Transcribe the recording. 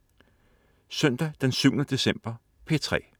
Søndag den 7. december - P3: